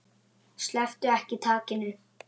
Slepptu ekki takinu.